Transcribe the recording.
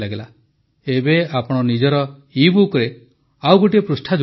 ଏବେ ଆପଣ ନିଜର ଇବୁକରେ ଆଉ ଗୋଟିଏ ପୃଷ୍ଠା ଯୋଡ଼ି ଦିଅନ୍ତୁ